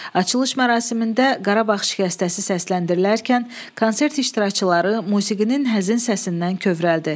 Açılış mərasimində Qarabağ şikəstəsi səsləndirilərkən konsert iştirakçıları musiqinin həzin səsindən kövrəldi.